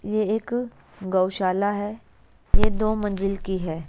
ये एक गौशाला है ये दो मंजिल की है।